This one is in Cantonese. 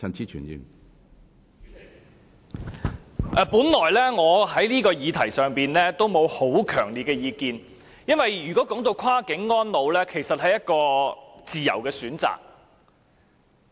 主席，我本來就此議題沒有很強烈的意見，因為跨境安老是自由的選擇。